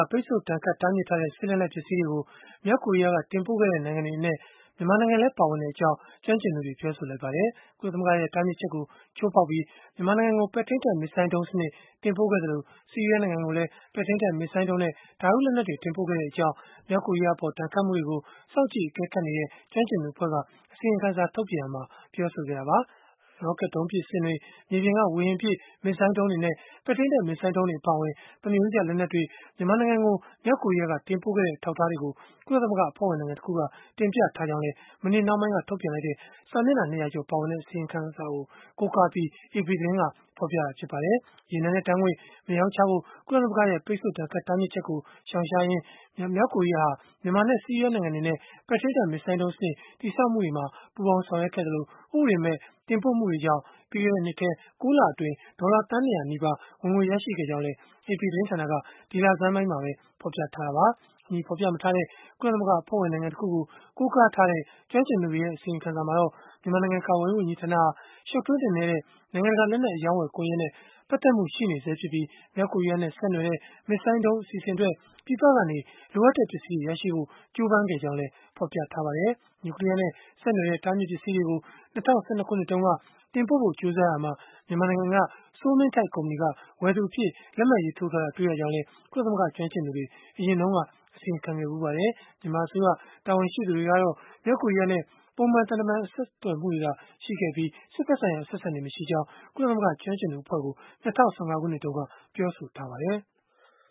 ပိတ်ဆို့ဒဏ်ခတ် တားမြစ်ထားတဲ့ စစ်လက်နက်ပစ္စည်းတွေကို မြောက်ကိုရီးယားက တင်ပို့ခဲ့တဲ့ နိုင်ငံတွေအနက် မြန်မာနိုင်ငံလည်း ပါဝင်ကြောင်း ကျွမ်းကျင်သူတွေက ပြောဆိုလိုက်ကြပါတယ်။ ကုလသမဂ္ဂရဲ့ တားမြစ်ချက်ကို ချိုးဖောက်ပြီး မြန်မာနိုင်ငံကို ပဲ့ထိန်းတပ် မစ်ဇိုင်းဒုံးစနစ် တင်ပို့ခဲ့သလို၊ ဆီးရီးယားနိုင်ငံကိုလည်း ပဲ့ထိန်းတပ် မစ်ဇိုင်းဒုံးနဲ့ ဓာတုလက်နက်တွေ တင်ပို့ခဲ့ကြောင်း မြောက်ကိုရီးယားအပေါ် ဒဏ်ခတ်မှုတွေကို စောင့်ကြည့်အကဲခတ်နေတဲ့ ကျွမ်းကျင်သူအဖွဲ့က အစီရင်ခံစာ ထုတ်ပြန်ရာမှာ ပြောဆိုခဲ့တာပါ။ ရော့ကတ်ဒုံးပစ်စင်တွေ၊ မြေပြင်က ဝေဟင်ပစ် မစ်ဇိုင်းဒုံးတွေနဲ့ ပဲ့ထိန်းတပ် မစ်ဇိုင်းဒုံးတွေ အပါအဝင် သမားရိုးကျ လက်နက်တွေ မြန်မာနိုင်ငံကို မြောက်ကိုရီးယားက တင်ပို့ခဲ့တဲ့ အထောက်အထားတွေကို ကုလသမဂ္ဂ အဖွဲ့ဝင်နိုင်ငံတခုက တင်ပြထားကြောင်းလည်း မနေ့နှောင်းပိုင်းက ထုတ်ပြန်လိုက်တဲ့ စာမျက်နှာ ၂၀၀ ကျော် ပါဝင်တဲ့ အစီရင်ခံစာကို ကိုးကားပြီး AP သတင်းက ဖော်ပြပါတယ်။ ရေနံနဲ့ဓာတ်ငွေ့ မရောင်းချဖို့ ကုလသမဂ္ဂရဲ့ ပိတ်ဆို့ဒဏ်ခတ် တားမြစ်ချက်ကို ရှောင်ရှားနိုင်အောင် မြောက်ကိုရီးယားဟာ မြန်မာနဲ့ ဆီးရီးယား နိုင်ငံတွေနဲ့ ပဲ့ထိန်းတပ် မစ်ဇိုင်းဒုံးစနစ် တည်ဆောက်မှုတွေမှာ ပူးပေါင်းဆောင်ရွက်ခဲ့သလို၊ ဥပဒေမဲ့ တင်ပို့မှုတွေကြောင့် ပြီးခဲ့တဲ့နှစ်ထဲ ၉ လအတွင်း ဒေါ်လာသန်း ၂၀၀ နီးပါး ဝင်ငွေရခဲ့ကြောင်းလည်း AP သတင်ဌာနက ဒီလဆန်းမှာပဲ ဖော်ပြခဲ့တာပါ။ အမည်ဖော်ပြမထားတဲ့ ကုလသမဂ္ဂ အဖွဲ့ဝင်နိုင်ငံတခုကို ကိုးကားထားတဲ့ ကျွမ်းကျင်သူတွေရဲ့ အစီရင်ခံစာမှာတော့ မြန်မာနိုင်ငံ ကာကွယ်ရေး ဝန်ကြီးဌာနဟာ ရှုတ်ထွေးနက်နဲတဲ့ နိုင်ငံတကာ လက်နက်အရောင်းအဝယ် ကွန်ယက်နဲ့ ပတ်သက်မှု ရှိနေဆဲဖြစ်ပြီး၊ မြောက်ကိုရီးယားနဲ့ ဆက်နွယ်တဲ့ မစ်ဇိုင်းဒုံး အစီအစဉ်အတွက် ပြည်ပကနေ လိုအပ်တဲ့ ပစ္စည်းတွေ ရရှိဖို့ ကြိုးပမ်းခဲ့ကြောင်းလည်း ဖော်ပြထားပါတယ်။ နျူကလီးယားနဲ့ ဆက်နွယ်တဲ့ တားမြစ်ပစ္စည်းတွေကို ၂၀၁၂ ခုနှစ်တုန်းက တင်ပို့ဖို့ ကြိုးစားရာမှာ မြန်မာနိုင်ငံက စိုးမင်းထိုက် ကုမ္ပဏီက ဝယ်သူအဖြစ် လက်မှတ်ရေးထိုးထားတာ တွေ့ရကြောင်းလည်း ကုလသမဂ္ဂ ကျွမ်းကျင်သူတွေ အရင်တုန်းက အစီရင်ခံခဲ့ဖူးပါတယ်။ မြန်မာအစိုးရ တာဝန်ရှိသူတွေကတော့ မြောက်ကိုရီးယားနဲ့ ပုံမှန်သံတမန် ဆက်သွယ်မှုတွေသာရှိပြီး စစ်ဘက်ဆိုင်ရာ အဆက်အဆံတွေ မရှိကြောင်း ကုလသမဂ္ဂ ကျွမ်းကျင်သူအဖွဲ့ကို ၂၀၁၅ ခုနှစ်တုန်းက ပြောဆိုထားပါတယ်။